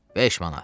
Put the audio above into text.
5 manat.